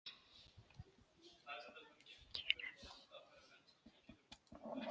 Ég ein geri það.